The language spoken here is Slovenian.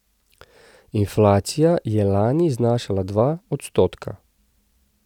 Inflacija je lani znašala dva odstotka.